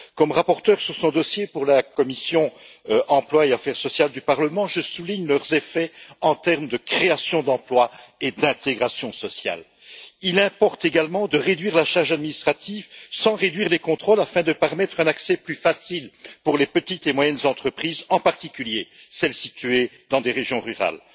Comme rapporteur sur ce dossier pour la commission de l'emploi et des affaires sociales du Parlement, je souligne les effets de ces projets sur les plans de la création d'emplois et de l'intégration sociale. Il importe également de réduire la charge administrative, sans réduire les contrôles, afin de permettre un accès plus facile pour les petites et moyennes entreprises, en particulier celles situées dans des zones rurales.